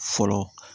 Fɔlɔ